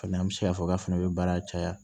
Ka na an bɛ se k'a fɔ k'a fana bɛ baara caya